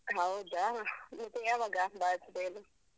ಹೌದಾ? ಮತ್ತೆ ಯಾವಾಗ birthday ಅದು?